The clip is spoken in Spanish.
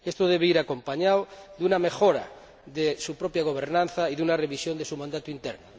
Esto debe ir acompañado de una mejora de su propia gobernanza y de una revisión de su mandato interno.